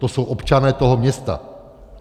To jsou občané toho města.